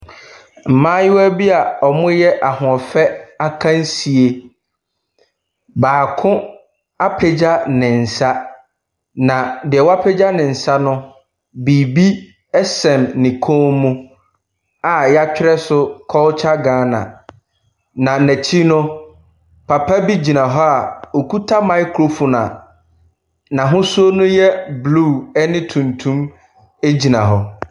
Mmayewa bi a wɔreyɛ ahoɔfɛ akansie, baako apagya ne nsa, na deɛ wapagya ne nsa no, biribi sɛn ne kɔn mu a wɔatwerɛ so Culture Ghana, na n'akyi no, papa bi gyina hɔ a ɔkuta microphone a n'ahosuo no yɛ blue ne tuntum gyina hɔ.